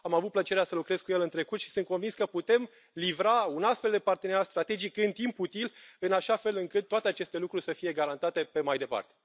Am avut plăcerea să lucrez cu el în trecut și sunt convins că putem livra un astfel de parteneriat strategic în timp util, în așa fel încât toate aceste lucruri să fie garantate pe mai departe.